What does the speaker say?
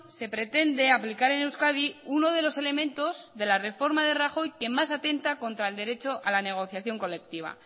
se pretende aplicar en euskadi uno de los elementos de la reforma de rajoy que más atenta contra el derecho a la negociación colectiva